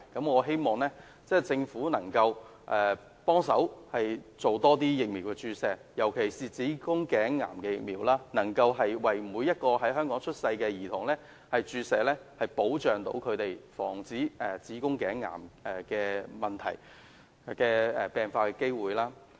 我希望政府能夠資助更多疫苗注射，尤其是希望能夠為每名在香港出生的女童注射子宮頸癌的疫苗，保障她們的健康及防止子宮頸癌的病發機會。